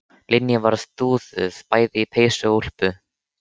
Linja var dúðuð bæði í peysu og úlpu.